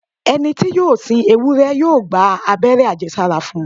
Ẹni tí yóò sin ewúrẹ́ yóò gba abẹ́rẹ́ àjẹsára fún un.